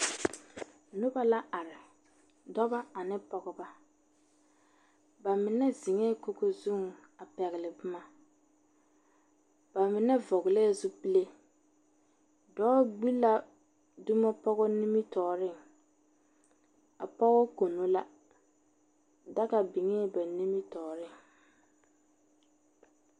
Noba la are, dɔbɔ ane pɔgeba. Ba mine zeŋɛɛ kogo zuŋ a pɛgle boma. Ba mine vɔglɛɛ zupile. Dɔɔ gbi la zumo pɔgɔ nimitɔɔreŋ. A pɔge kono la. Daga biŋee ba nimitɔɔreŋ.